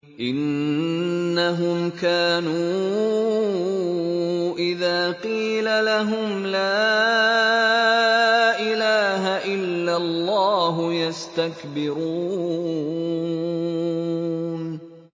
إِنَّهُمْ كَانُوا إِذَا قِيلَ لَهُمْ لَا إِلَٰهَ إِلَّا اللَّهُ يَسْتَكْبِرُونَ